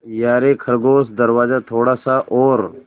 यारे खरगोश दरवाज़ा थोड़ा सा और